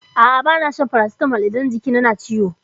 A'a bana shan farasitamol idan jiki na na ciwo.